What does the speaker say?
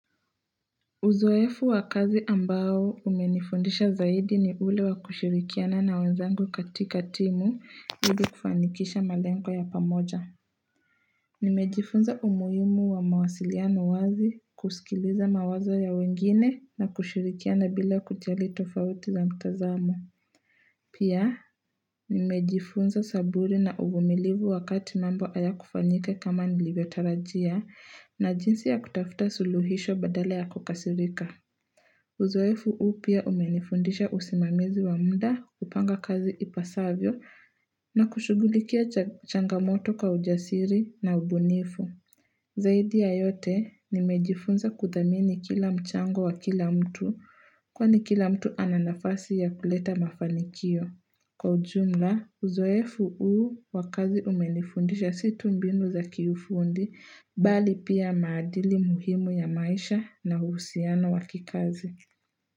Uzoefu wa kazi ambao umenifundisha zaidi ni ule wa kushirikiana na wanzangu katika timu ili kufanikisha malengo ya pamoja Nimejifunza umuhimu wa mawasiliano wazi kusikiliza mawazo ya wengine na kushirikiana bila kujali tofauti za mtazamo Pia nimejifunza saburi na uvumilivu wakati mambo hayakufanyika kama nilivyotarajia na jinsi ya kutafuta suluhisho badal ya kukasirika Uzoefu huu pia umenifundisha usimamizi wa muda kupanga kazi ipasavyo na kushugulikia changamoto kwa ujasiri na ubunifu. Zaidi ya yote nimejifunza kudhamini kila mchango wa kila mtu kwani kila mtu ananafasi ya kuleta mafanikio. Kwa ujumla, uzoefu huu wakazi umenifundisha si tu mbinu za kiufundi, bali pia maadili muhimu ya maisha na uhusiano wa kikazi.